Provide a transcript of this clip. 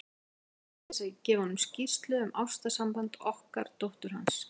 Ætlast hann til þess, að ég gefi honum skýrslu um ástarsamband okkar dóttur hans?